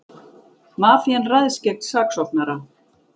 Mafían ræðst gegn saksóknara